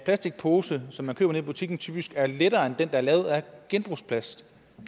plastikpose som man køber nede i butikken typisk er lettere end den der er lavet af genbrugsplast